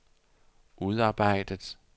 udarbejdet